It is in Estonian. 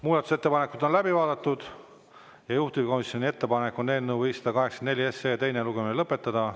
Muudatusettepanekud on läbi vaadatud ja juhtivkomisjoni ettepanek on eelnõu 584 teine lugemine lõpetada.